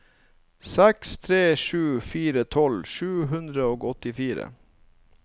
seks tre sju fire tolv sju hundre og åttifire